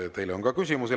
Ja teile on ka küsimusi.